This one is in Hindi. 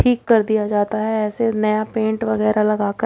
ठीक कर दिया जाता है ऐसे नया पेंट वगैरह लगाकर।